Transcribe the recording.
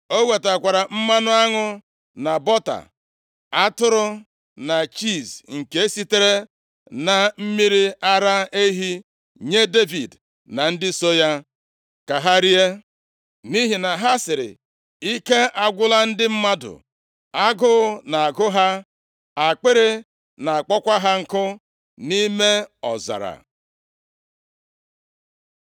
O wetakwara mmanụ aṅụ, na bọta, atụrụ na chiizi nke sitere na mmiri ara ehi nye Devid na ndị so ya ka ha rie. Nʼihi na ha sịrị, “Ike agwụla ndị mmadụ, agụụ na-agụ ha, akpịrị na-akpọkwa ha nkụ, nʼime ọzara.”